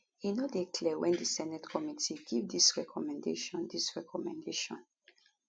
e no dey clear wen di senate committee give dis recommendation dis recommendation